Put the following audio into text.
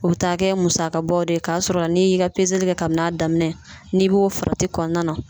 O be taa kɛ musaka bɔ de ye .Ka sɔrɔ n'i y'i ka kɛ kabini a daminɛ, n'i b'o farati kɔnɔna na